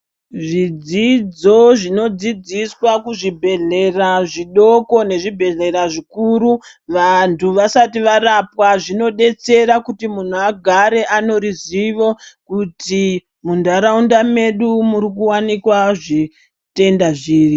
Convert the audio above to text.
Zvidzidzo zvinodzidziswa kuzvibhedhlera zvidoko nezvibhedhlera zvikuru, vantu vasati varapwa zvinodetsera kuti muhu agare aneruzivo kuti mundarawunda medu murikuwanikwa zvitenda zviri.